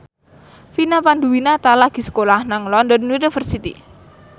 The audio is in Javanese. Vina Panduwinata lagi sekolah nang London University